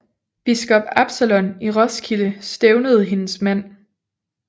Biskop Absalon i Roskilde stævnede hendes mand